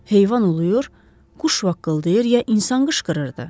Heyvan uluyur, quş vaqqıldayır ya insan qışqırırdı?